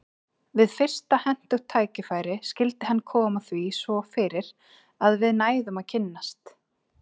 Við fyrsta hentugt tækifæri skyldi hann koma því svo fyrir að við næðum að kynnast.